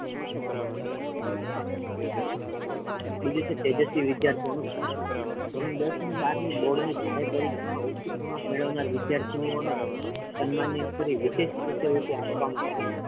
બીજુ છે તેજસ્વી વિદ્યાર્થીઓ નુ સન્માન ધોરણ દસ ને બાર ની બોર્ડ ની જાહેર પરીક્ષામાં ઉચ્ચ ક્રમાંક મેળવનાર વિદ્યાર્થીનીઓને સન્માનિત કરી વિશેષ શિષ્યવૃતિ આપવામાં આવે છે.